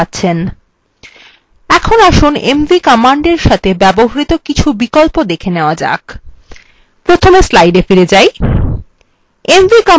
এখন আসুন mv কমান্ডের সাথে ব্যবহৃত কিছু বিকল্প দেখে নেওয়া যাক প্রথমে slides ফিরে যাই